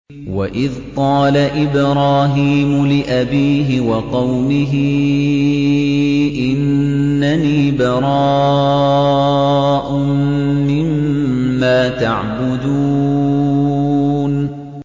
وَإِذْ قَالَ إِبْرَاهِيمُ لِأَبِيهِ وَقَوْمِهِ إِنَّنِي بَرَاءٌ مِّمَّا تَعْبُدُونَ